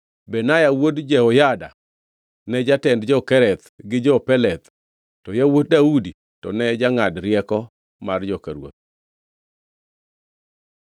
Benaya wuod Jehoyada ne jatend jo-Kereth gi jo-Peleth; to yawuot Daudi to ne jangʼad rieko mar joka ruoth.